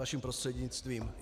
Vaším prostřednictvím.